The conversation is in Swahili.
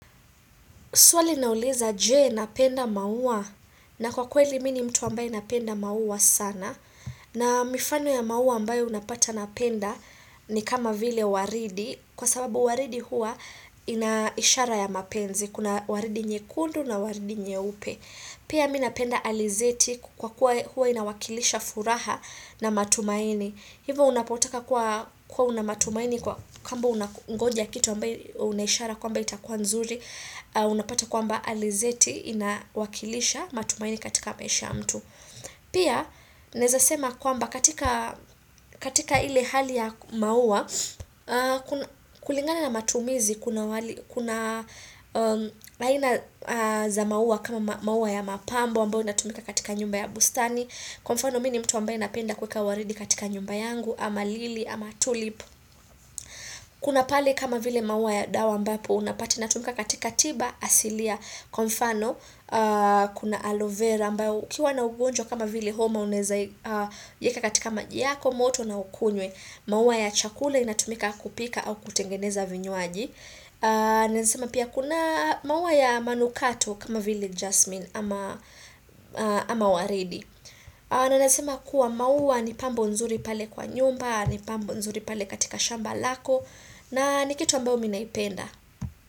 Suali nauliza je napenda maua na kwa kweli mi ni mtu ambaye napenda maua sana na mifano ya maua ambayo unapata napenda ni kama vile waridi kwa sababu waridi hua ina ishara ya mapenzi kuna waridi nyekundu na waridi nyeupe. Pia mi napenda alizeti kwa kuwa hua inawakilisha furaha na matumaini. Hivo unapotaka kuwa unamatumaini kwa kwamba unangonja kitu ambayo unaishara kwamba itakuwa nzuri. Unapata kwamba alizeti inawakilisha matumaini katika maisha mtu. Pia naezasema kwamba katika ile hali ya maua, kulingana na matumizi kuna aina za maua kama maua ya mapambo ambayo inatumika katika nyumba ya bustani kwa mfano mi ni mtu ambayo napenda kuweka waridi katika nyumba yangu ama lili ama tulip kuna pale kama vile maua ya dawa ambapo unapati inatumika katika tiba asilia kwa mfano kuna aloe vera ambayo wkiwa na ugonjwa kama vile homa unaeza iyeka katika maji yako moto na ukunywe maua ya chakula inatumika kupika au kutengeneza vinywaji naesema pia kuna maua ya manukato kama vile jasmine ama waridi na naezasema kuwa maua ni pambo nzuri pale kwa nyumba ni pambo nzuri pale katika shamba lako na ni kitu ambao mi naipenda.